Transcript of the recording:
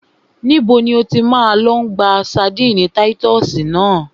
Níbo ni o ti máa lọ gba ṣadínnì táyítọ́sì náà?